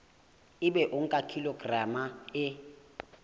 ebe o nka kilograma e